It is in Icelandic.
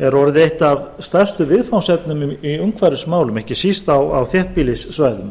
er orðið eitt af stærstu viðfangsefnum í umhverfismálum ekki síst á þéttbýlissvæðum